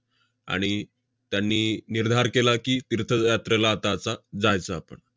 आणि त्यांनी निर्धार केला की, तीर्थज~ यात्रेला आता असं जायचं आपण.